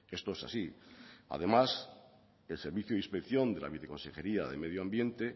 esto es así además el servicio de inspección de la viceconsejería de medio ambiente